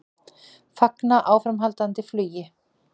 Fagna áframhaldandi flugi